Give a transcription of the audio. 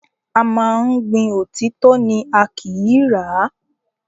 A máa ń gbin òtítọ́ ni, a kìí rà á.